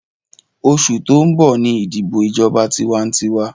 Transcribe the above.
Rárá, oṣù tó ń bọ̀ ní ìdìbọ̀ ìjọba tiwantiwa